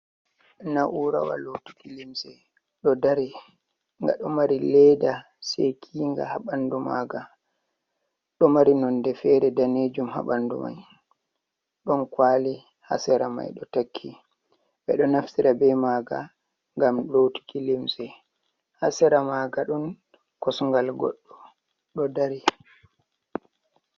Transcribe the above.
Na'urawa lotuki limse ɗo dari, nga ɗo mari leda sekinga ha ɓandu Maga, ɗo mari nonde fere danejum ha ɓandu mai ɗon kwali ha sera mai ɗo takki ɓe do naftira bei maga ngam lotuki limse ha sera ma nga ɗon kosngal goɗɗo ɗo dari.